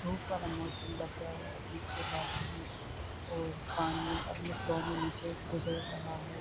بھوت سارا موسم بدلہ ہے۔ پیچھے بادل ہے اور پانی اپنے فلو مے نیچے گزر رہا ہے۔